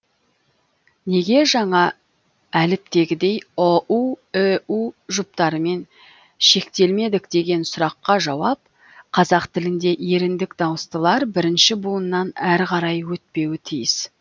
неге жаңа әліптегідей ұу үу жұптарымен шектелмедік деген сұраққа жауап қазақ тілінде еріндік дауыстылар бірінші буыннан әрі қарай өтпеуі тиіс